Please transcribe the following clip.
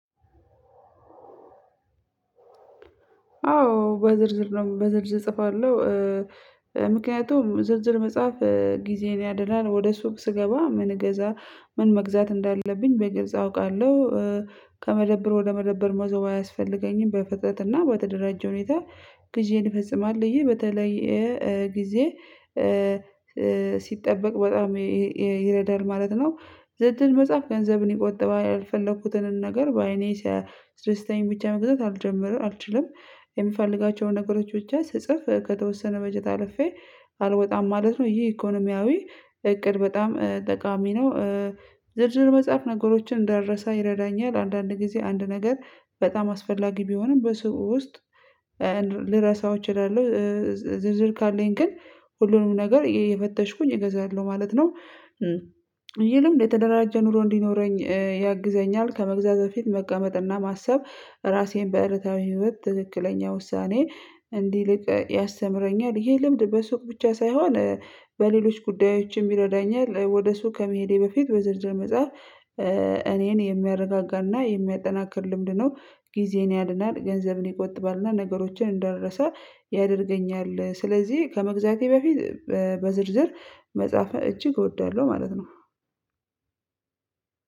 አዎ በዝርዝር ነው። በዝርዝር እጽፋለሁ ምክንያቱም ዝርዝር መጻፍ ጊዜን ያድናል ወደ ሱቅ ስገባ ምን እገዛ ምን መግዛት እንዳለብኝ በግልጽ አውቃለሁ? ከመደብር ወደ መደብር መዞር አያስፈልገኝም በፍጥነት እና በተደራጀ ሁኔታ ግዢዬን እፈፅማልለሁ በተለይ ጊዜ ሲጠበቅ በጣም ይረዳል ማለት ነው። ዝርዝር መጻፍ ገንዘብን ይቆጥባል ያልፈለኩትንም ነገር በአይኔ ሲያስደስተኛ ብቻ መግዛት አልጀምርም አልችልም። የምፈልጋቸውን ነገሮች ብቻ ስጽፍ ከተወሰነ በጀት አልፌ አልወጣም ማለት ነው። ይሄ ኢኮኖሚያዊ እቅድ በጣም ጠቃሚ ነው። ዝርዝር መጻፍ ነገሮችን እንዳልረሳ ይረዳኛል አንዳንድ ጊዜ አንድ ነገር በጣም አስፈላጊ ቢሆንም በስውር ውስጥ ልረሳው እችላለሁ። ዝርዝር ካለኝ ግን ሁሉንም ነገር እየፈተሽኩኝ እገዛለሁ ማለት ነው። ይህ ልምድ የተደራጀ ኑሮ እንዲኖረኝ ያግዘኛል ከመግዛት በፊት መቀመጥና ማሰብ ራሴን በእለታዊ ህይወት ትክክለኛ ውሳኔ እንዲልቅ ያስተምረኛል ይሄ ልምድ በሱቅ ብቻ ሳይሆን በሌሎች ጉዳዮችም ይረዳኛል። ወደ ሱቅ ከመሄዴ በፊት በዝርዝር መጻፍ እኔን የሚያረጋጋና የሚያጠናክር ልምድ ነው። ጊዜዬን ያድናል ገንዘብን ይቆጥባል እና ነገሮችን እንዳልረሳ ያደርገኛል። ስለዚህ ከመግዛቴ በፊት በዝርዝር መጻፍ እጅግ እወዳለሁ ማለት ነው።